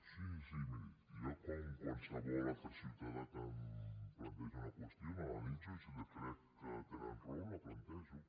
miri jo com amb qualsevol altre ciutadà que em planteja una qüestió l’analitzo i si crec que tenen raó la plantejo